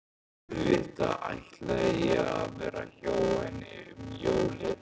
Auðvitað ætlaði ég að vera hjá henni um jólin.